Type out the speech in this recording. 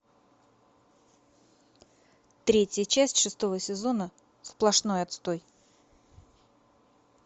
третья часть шестого сезона сплошной отстой